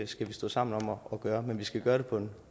skal stå sammen om at gøre noget men vi skal gøre det på en